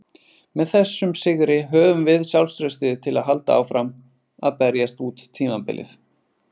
Með þessum sigri höfum við sjálfstraustið til að halda áfram að berjast út tímabilið.